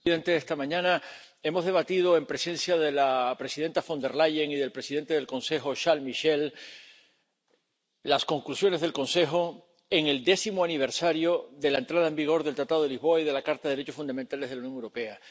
Señor presidente, esta mañana hemos debatido en presencia de la presidenta Von der Leyen y del presidente del Consejo, Charles Michel, las conclusiones del Consejo en el décimo aniversario de la entrada en vigor del Tratado de Lisboa y de la Carta de los Derechos Fundamentales de la Unión Europea.